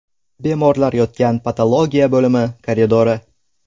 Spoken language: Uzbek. Bemorlar yotgan patologiya bo‘limi koridori.